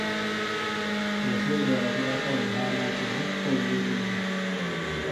rũciũ rĩera rĩgaakorwo rĩhaana atĩa kũu kisumu